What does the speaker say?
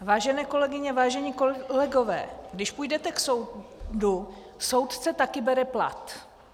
Vážené kolegyně, vážení kolegové, když půjdete k soudu, soudce také bere plat.